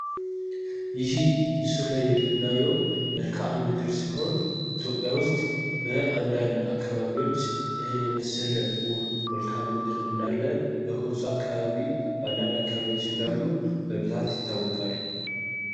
ይሄ ምስሉ ላይ የምናየው መልካም ምድር ኢትዮጵያ ውስጥ በአንዳንድ አካባቢዎች ይህን የመሰለው ውብ መልካም ምድር እንዳ በኮንሶ አካባቢ በአንዳንድ አካባቢዎችን እንዳሉ በብዛት ይታወቃሉ ።